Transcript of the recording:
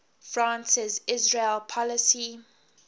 france's israel policy